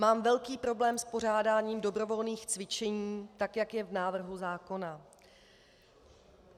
Mám velký problém s pořádáním dobrovolných cvičení tak, jak je v návrhu zákona.